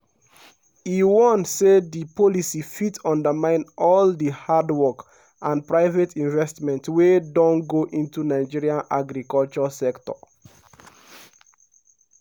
e warn say di policy fit undermine all di hard work and private investments wey don go into nigeria agriculture sector.